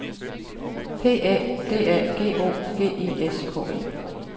P Æ D A G O G I S K E